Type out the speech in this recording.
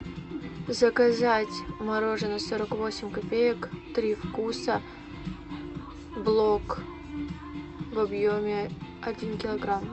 заказать мороженое сорок восемь копеек три вкуса блок в объеме один килограмм